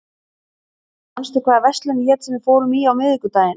Magnþór, manstu hvað verslunin hét sem við fórum í á miðvikudaginn?